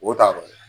O taa yɔrɔ ye